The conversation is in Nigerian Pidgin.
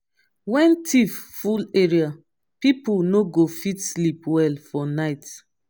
when thief full area pipo no go fit sleep well for night.